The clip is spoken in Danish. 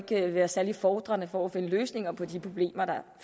det vil være særlig befordrende for at finde løsninger på de problemer der